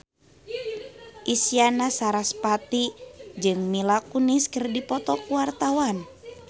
Isyana Sarasvati jeung Mila Kunis keur dipoto ku wartawan